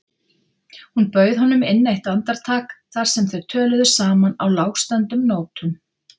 Hún bauð honum inn eitt andartak þar sem þau töluðu saman á lágstemmdum nótum.